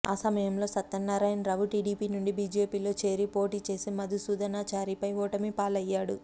ఆ సమయంలో సత్యనారాయణరావు టీడీపీ నుండి బీజేపీలో చేరి పోటీ చేసి మధుసూధనాచారిపై ఓటమి పాలయ్యాడు